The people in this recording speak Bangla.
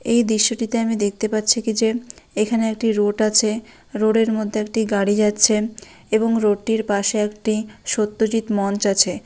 এই দৃশ্যটিতে আমি দেখতে পাচ্ছি কি যে এখানে একটি রোড আছে | রোড এর মধ্যে একটি গাড়ি যাচ্ছে | এবং রোড টির পাশে একটি সত্যজিৎ মঞ্চ আছে।